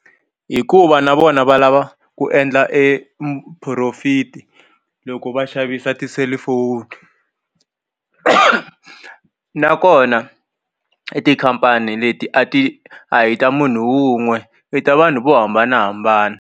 Hikuva na vona va lava ku endla e profit loko va xavisa tiselifoni nakona tikhampani leti a ti a hi ta munhu wun'we i ta vanhu vo hambanahambana.